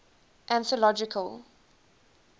anthological